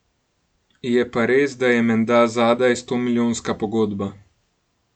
Je pa res, da je menda zadaj stomilijonska pogodba.